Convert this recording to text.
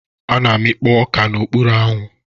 A na-amikpo oka n'okpuru anyanwụ.